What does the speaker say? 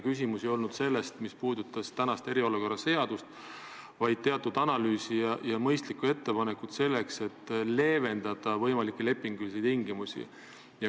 Küsimus ei olnud selles, mis puudutas eriolukorra sätestamist seadustes, vaid teatud analüüsis ja mõistlikus ettepanekus, et leevendada võimalikke lepingulisi tingimusi.